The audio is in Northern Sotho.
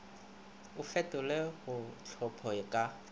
o fetolelwe go tlhopho ka